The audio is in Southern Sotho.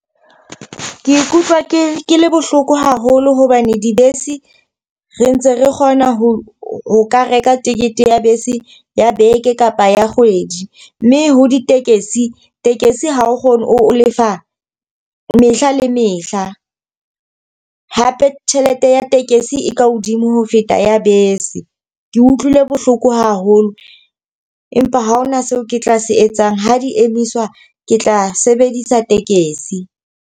Ke ikutlwa ke ke le bohloko haholo hobane dibese re ntse re kgona ho ho ka reka tekete ya bese ya beke kapa ya kgwedi. Mme ho ditekesi, tekesi ha o kgone, o lefa mehla le mehla. Hape tjhelete ya tekesi e ka hodimo ho feta ya bese. Ke utlwile bohloko haholo empa ha hona seo ke tla se etsang. Ha di emiswa ke tla sebedisa tekesi.